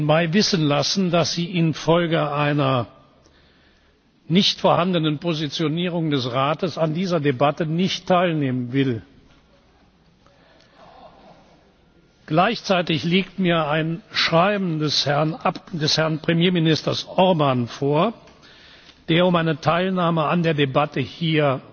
14. Mai wissen lassen, dass sie infolge einer nicht vorhandenen Positionierung des Rates an dieser Debatte nicht teilnehmen will. Gleichzeitig liegt mir ein Schreiben des Herrn Premierministers Orbán vor, der um eine Teilnahme an der Debatte hier